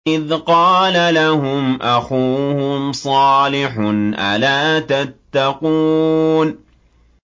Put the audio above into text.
إِذْ قَالَ لَهُمْ أَخُوهُمْ صَالِحٌ أَلَا تَتَّقُونَ